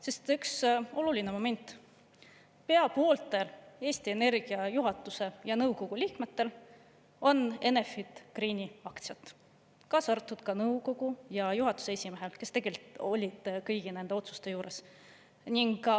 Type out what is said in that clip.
Sest üks oluline moment: pea pooltel Eesti Energia juhatuse ja nõukogu liikmetel on Enefit Greeni aktsiad, kaasa arvatud nõukogu ja juhatuse esimehel, kes tegelikult olid kõigi nende otsuste juures.